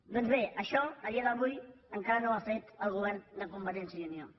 doncs bé això a dia d’avui encara no ho ha fet el govern de convergència i unió